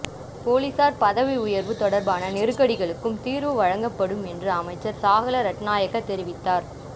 பொலிசார் பதவி உயர்வு தொடர்பான நெருக்கடிகளுக்கும் தீர்வு வழங்கப்படும் என்று அமைச்சர் சாகல ரட்ணாயக்க தெரிவித்தார்